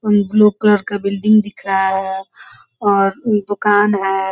Blue colour का building दिख रहा है और दुकान है।